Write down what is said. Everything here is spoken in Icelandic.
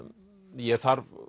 ég þarf